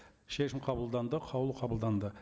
шешім қабылданды қаулы қабылданды